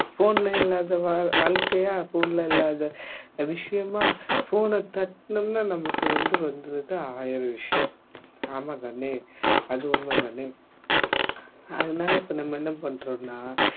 phone ல இல்லாத வா வாழ்க்கையா phone ல இல்லாத விஷயமா phone அ தட்டினோம்னா நமக்கு வந்து வந்துருது ஆயிரம் விஷயம் ஆமாம் தானே அது உண்மை தானே அதனால இப்ப நம்ம என்ன பண்றோம்னா